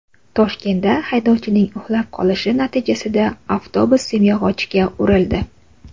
Toshkentda haydovchining uxlab qolishi natijasida avtobus simyog‘ochga urildi.